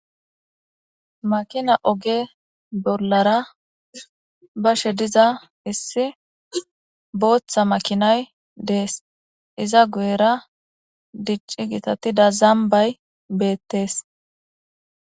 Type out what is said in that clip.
makina oge bollara bashe diza issi booththa makinay dees iza guyera dicci gitatida zambay beettees